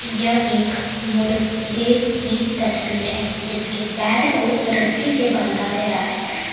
यह एक मुर्गे की तस्वीर है जिसके पैर को रस्सी से बांधा गया है।